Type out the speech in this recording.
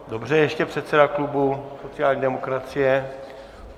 Dobře, ještě předseda klubu sociální demokracie.